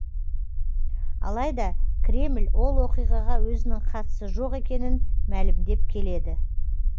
алайда кремль ол оқиғаға өзінің қатысы жоқ екенін мәлімдеп келеді